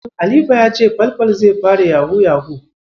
Halifa ya ce Falfal zai fara Yahu-yahu.